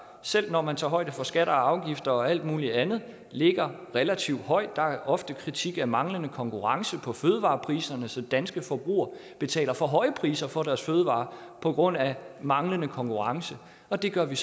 selv når man tager højde for skatter og afgifter og alt muligt andet ligger relativt højt der er ofte kritik af manglende konkurrence på fødevarepriserne så danske forbrugere betaler for høje priser for deres fødevarer på grund af manglende konkurrence det gør vi